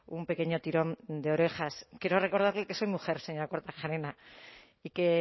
un pequeño tirón de orejas quiero recordarle que soy mujer señora kortajarena y que